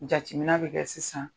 Jateminɛ bɛ kɛ sisan